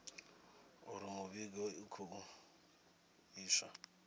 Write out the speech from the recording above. uri mivhigo i khou iswa